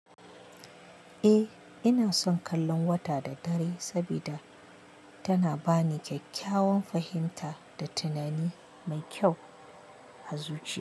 Eh, ina son kallon wata da dare saboda tana ba ni kyakkyawan fahimta da tunani mai kyau, azuci.